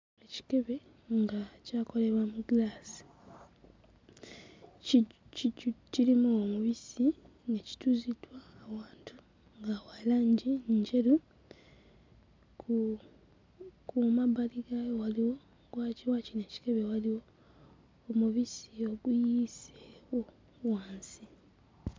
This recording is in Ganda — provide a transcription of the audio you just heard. Ekikebe nga kyakolebwa mu ggiraasi, ki kijju kirimu omubisi nga kituuziddwa awantu nga wa langi njeru, ku ku mabbali gaayo waliwo waki wakino ekikebe waliwo omubisi oguyiseewo wansi.